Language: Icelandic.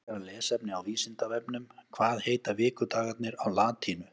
Frekara lesefni á Vísindavefnum Hvað heita vikudagarnir á latínu?